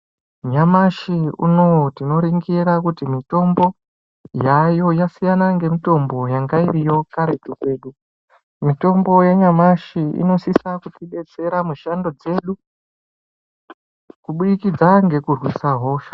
Nyamashi unoyu tinoringira kuti mitombo yaayo yasiyana ngemitombo yange iriyo karetu kedu. Mitombo yanyamashi inosisa kutidetsera mushando dzedu kuburikidza ngekurwisa hosha.